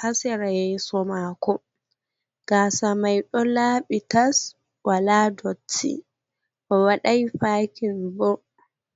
ha sera yeso mako. Gaasa mai ɗon laaɓi tas wala dotti owaɗai pakin bo.